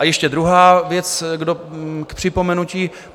A ještě druhá věc k připomenutí.